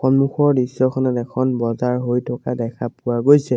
সন্মুখৰ দৃশ্যখনত এখন বজাৰ হৈ থকা দেখা পোৱা গৈছে।